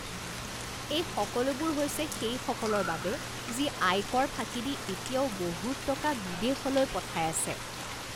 এই সকলোবোৰ হৈছে সেইসকলৰ বাবে যি আয়কৰ ফাঁকি দি এতিয়াও বহুত টকা বিদেশলৈ পঠাই আছে